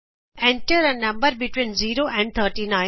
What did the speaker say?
Enter a number between 0 and 39